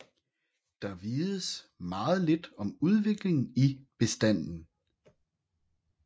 Der vides meget lidt om udviklingen i bestanden